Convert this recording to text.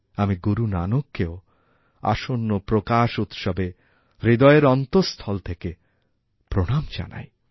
আমি গুরু নানককেওআসন্ন প্রকাশ উৎসবে হৃদয়ের অন্তস্থল থেকে প্রণাম জানাই